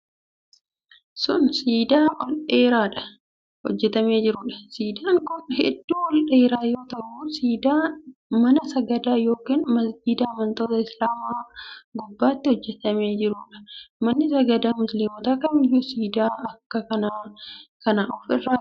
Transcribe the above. Kun, siidaa ol dheeraa hojjatamaa jiruu dha. Siidaan kun hedduu ol dheeraa yoo ta'u, siidaa mana sagadaa yookin masgiida amantoota islaamaa gubbaatti hojjatamaa jiruu dha. Maanni sagadaa musliimotaa kamiyyuu siidaa akka kanaa kana of irraa qaba.